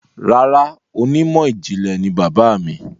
Rárá, onímọ̀ ìjìnlẹ̀ ni bàbáà mi.